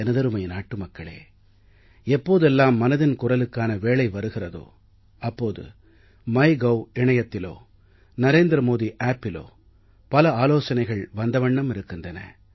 எனதருமை நாட்டு மக்களே எப்போதெல்லாம் மனதின் குரலுக்கான வேளை வருகிறதோ அப்போது மைகோவ் இணையத்திலோ narendramodiappஇலோ பல ஆலோசனைகள் வந்த வண்ணம் இருக்கின்றன